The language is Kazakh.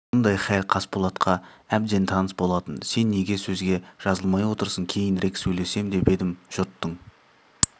мұндай хәл қасболатқа әбден таныс болатын сен неге сөзге жазылмай отырсың кейінірек сөйлесем деп едім жұрттың